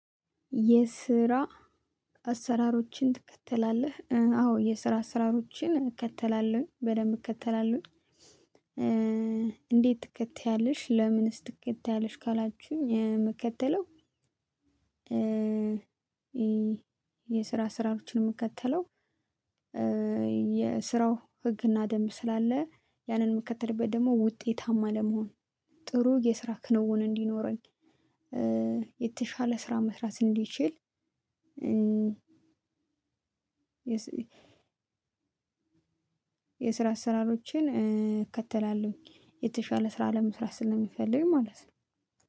የስራ አሰራሮችን ትከተላለህ? አዎ፣ የስራ አሰራሮችን እከተላለሁኝ በደንብ እከተላለሁኝ እንዴት ትከተያለሽ? ለምንስ ትከተያለሽ? ካላችሁኝ ምከተለው የስራ ስራዎችን የምከተለው የስራው ህግና ደንብ ስላለ ያንን የምከተልበት ደግሞ ውጤታማ ለመሆን ጥሩ የስራ ክንውን እንዲኖረኝ የተሻለ ስራ መስራት እንድችል እ የስራ አሰራሮችን እከተላለሁ የተሻለ ስራ ለመስራት ስለምፈልግ ማለት ነው።